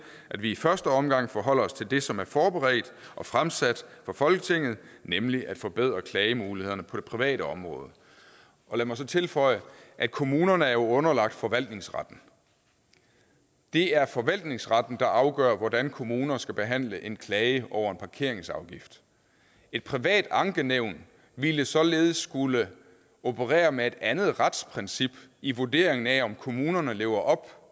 at vi i første omgang forholder os til det som er forberedt og fremsat for folketinget nemlig at forbedre klagemulighederne på det private område lad mig så tilføje at kommunerne jo er underlagt forvaltningsretten det er forvaltningsretten der afgør hvordan kommuner skal behandle en klage over en parkeringsafgift et privat ankenævn ville således skulle operere med et andet retsprincip i vurderingen af om kommunerne lever op